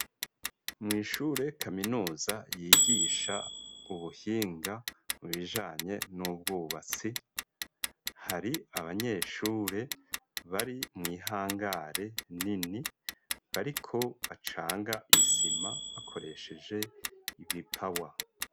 Mw'ishure kaminuza yigisha ubuhing, mu bijanye n'ubwubatsi, hari abanyeshure bari mw'ihangare nini, bariko bacanga isima bakoresheje ibipawa.